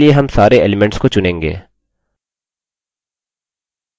इसके लिए हम सारे elements को चुनेंगे